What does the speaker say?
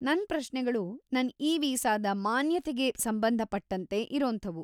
ನನ್ ಪ್ರಶ್ನೆಗಳು ನನ್ ಇ-ವೀಸಾದ ಮಾನ್ಯತೆಗೆ ಸಂಬಂಧ ಪಟ್ಟಂತೆ ಇರೋಂಥವು.